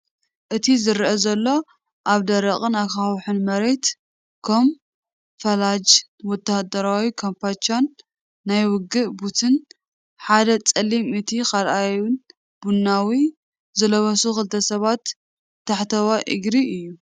እቲ ዝረአ ዘሎ፡ ኣብ ደረቕን ኣኻውሕን መሬት፡ ካሞፍላጅ ወተሃደራዊ ካምቻን ናይ ውግእ ቡትን (ሓደ ጸሊም፡ እቲ ካልኣይ ቡናዊ) ዝለበሱ ክልተ ሰባት ታሕተዋይ እግሪ እዩ።